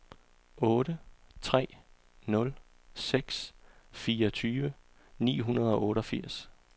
otte tre nul seks fireogtyve ni hundrede og otteogfirs